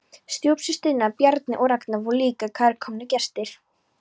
Stjúpsynirnir Bjarni og Ragnar voru líka kærkomnir gestir.